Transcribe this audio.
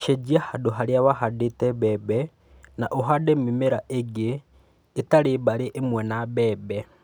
Cenjia handũ harĩa wahandĩte mbembe na ũhande mĩmera ĩngĩ ĩtarĩ bamĩrĩ ĩmwe na mbembe.